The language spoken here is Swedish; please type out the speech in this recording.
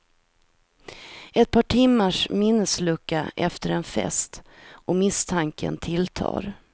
Ett par timmars minneslucka efter en fest och misstanken tilltar.